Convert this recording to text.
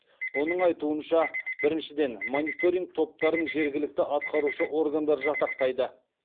оның айтуынша біріншіден мониторинг топтарын жергілікті атқарушы органдар жасақтайды